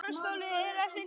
Nú er komið að því.